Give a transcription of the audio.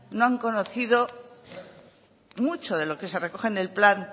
no han conocido mucho de lo que se recoge en el plan